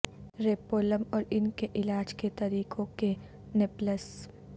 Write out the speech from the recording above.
ریپولم اور ان کے علاج کے طریقوں کے نپلس